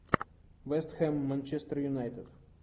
вест хэм манчестер юнайтед